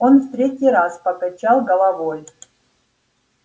он в третий раз покачал головой